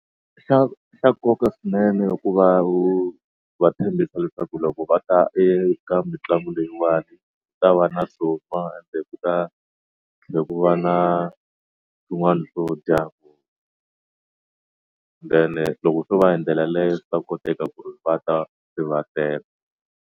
Xa xa nkoka swinene i ku va wu va tshembisa leswaku loko va ta eka mitlangu leyiwani ta va na kumbe ku va na swin'wana swo dya then loko swo va hindlela leyi swa koteka ku ri va ta se va tele.